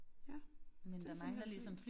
Ja det simpelthen fly